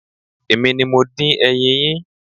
Èmi ni mo dín ẹyin yín.